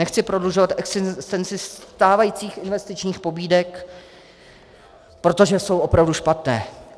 Nechci prodlužovat existenci stávajících investičních pobídek, protože jsou opravdu špatné.